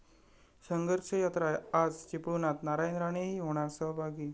संघर्ष यात्रा आज चिपळुणात, नारायण राणेही होणार सहभागी!